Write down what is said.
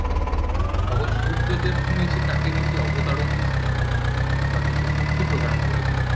তখন সূর্যদেব শুনেছি তাঁকে নেকি অবতারও দিয়েছিলেন কিছু বা কিছু শক্তি প্রদান করেছিলেন